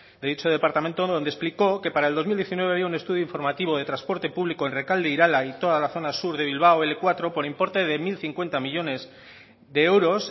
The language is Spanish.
de dicho departamento donde explicó que para el dos mil diecinueve había un estudio informativo de transporte público en rekalde irala y toda la zona sur de bilbao ele cuatro por importe de mil cincuenta millónes de euros